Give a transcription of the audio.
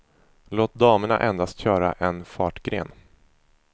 Låt damerna endast köra en fartgren.